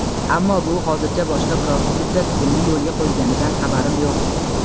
Ammo bu hozircha boshqa biror hududda tizimli yo‘lga qo‘yilganidan xabarim yo‘q.